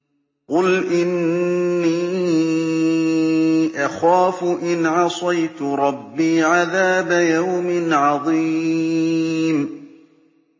قُلْ إِنِّي أَخَافُ إِنْ عَصَيْتُ رَبِّي عَذَابَ يَوْمٍ عَظِيمٍ